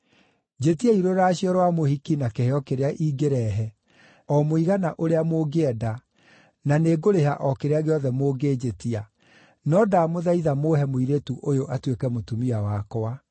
Njĩtiai rũracio rwa mũhiki na kĩheo kĩrĩa ingĩrehe, o mũigana ũrĩa mũngĩenda, na nĩngũrĩha o kĩrĩa gĩothe mũngĩnjĩtia. No ndamũthaitha mũũhe mũirĩtu ũyũ atuĩke mũtumia wakwa.”